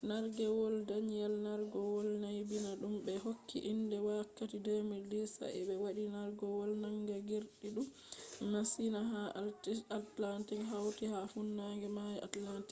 nargewol danielle nargewol naybina dum be hokki inde wakkati 2010 sa’a be wadi nargewol manga girgidum masin ha atlantic hauti ha funange mayo atlantic